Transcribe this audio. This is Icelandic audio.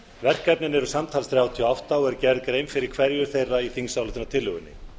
verkefnin eru samtals þrjátíu og átta og er gerð grein fyrir hverju þeirra í þingsályktunartillögunni